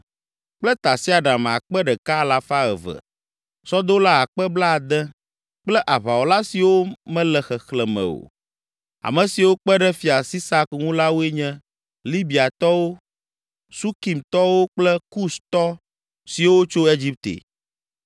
kple tasiaɖam akpe ɖeka alafa eve (1,200), sɔdola akpe blaade (60,000) kple aʋawɔla siwo mele xexlẽ me o. Ame siwo kpe ɖe Fia Sisak ŋu la woe nye, Libiatɔwo, Sukimtɔwo kple Kustɔ siwo tso Egipte.